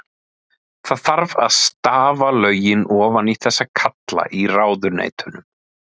Það þarf að stafa lögin ofan í þessa kalla í ráðuneytunum.